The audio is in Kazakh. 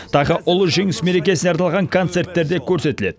тағы ұлы жеңіс мерекесіне арналған концерттер де көрсетіледі